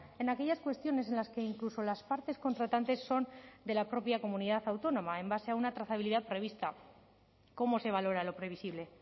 en aquellas cuestiones en las que incluso las partes contratantes son de la propia comunidad autónoma en base a una trazabilidad prevista cómo se valora lo previsible